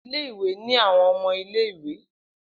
Ile-iwe ni awọn ọmọ ile-iwe.